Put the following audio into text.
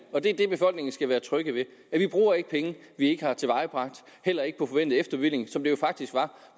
og det er det befolkningen skal være trygge ved vi bruger ikke penge vi ikke har tilvejebragt heller ikke på forventet efterbevilling som det jo faktisk var